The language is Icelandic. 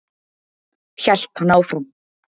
Hélt hann áfram.